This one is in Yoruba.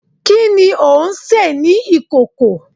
Kini o nse ni ikoko?